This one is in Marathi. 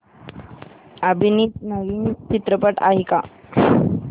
अभिनीत नवीन चित्रपट आहे का